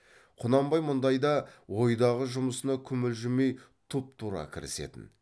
құнанбай мұндайда ойдағы жұмысына күмілжімей тұпа тура кірісетін